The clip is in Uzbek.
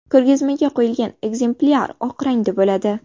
Ko‘rgazmaga qo‘yilgan ekzemplyar oq rangda bo‘ladi.